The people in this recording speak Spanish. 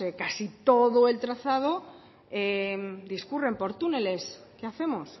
casi todo el trazado discurren por túneles qué hacemos